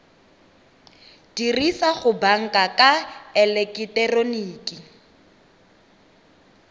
dirisa go banka ka eleketeroniki